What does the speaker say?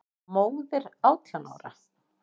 Móðir átján ára?